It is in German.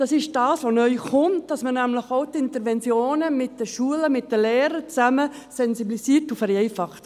Das ist das, was neu hinzukommt, dass man nämlich auch die Interventionen mit den Schulen, mit den Lehrern zusammen sensibilisiert und vereinfacht.